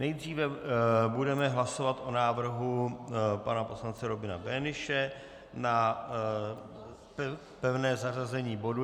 Nejdříve budeme hlasovat o návrhu pana poslance Robina Böhnische na pevné zařazení bodu.